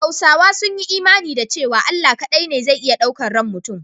Hausawa sun yi imani da cewa Allah kaɗai ne zai iya ɗaukan ran mutum.